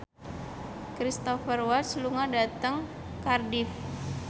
Cristhoper Waltz lunga dhateng Cardiff